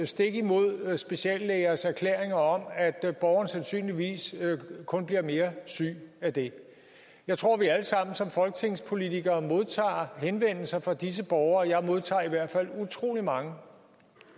stik imod speciallægers erklæringer om at borgeren sandsynligvis kun bliver mere syg af det jeg tror vi alle sammen som folketingspolitikere modtager henvendelser fra disse borgere jeg modtager i hvert fald utrolig mange